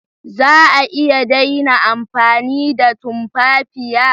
Za a iya daina amfani da tumfafiya?